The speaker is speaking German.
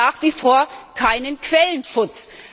Es gibt nach wie vor keinen Quellenschutz.